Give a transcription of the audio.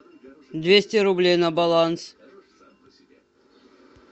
двести рублей на баланс